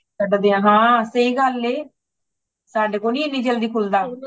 ਕੱਢਦਿਆਂ ਹਾਂ ,ਸਇ ਗੱਲ ਏ , ਸਾਡੇ ਕੋਲ ਨਹੀਂ ਏਨੀ ਜਲਦੀ ਖੁਲਦਾ